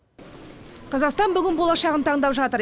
қазақстан бүгін болашағын таңдап жатыр